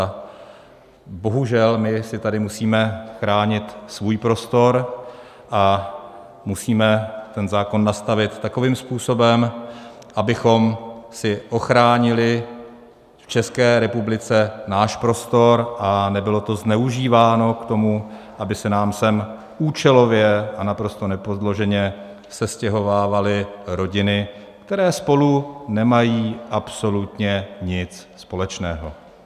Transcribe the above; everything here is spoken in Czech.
A bohužel my si tady musíme chránit svůj prostor a musíme ten zákon nastavit takovým způsobem, abychom si ochránili v České republice náš prostor a nebylo to zneužíváno k tomu, aby se nám sem účelově a naprosto nepodloženě sestěhovávaly rodiny, které spolu nemají absolutně nic společného.